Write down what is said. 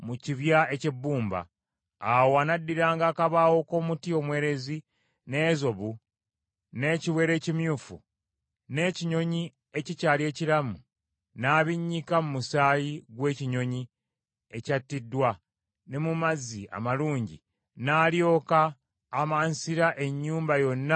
Awo anaddiranga akabaawo k’omuti omwerezi n’ezobu, n’ekiwero ekimyufu, n’ekinyonyi ekikyali ekiramu, n’abinnyika mu musaayi gw’ekinyonyi ekyattiddwa ne mu mazzi amalungi, n’alyoka amansira ennyumba yonna emirundi musanvu.